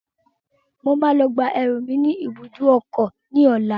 Mo máa lọ gba ẹrù mi ní ìbùdókọ̀ ní ọlá.